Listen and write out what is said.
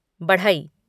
बढ़ई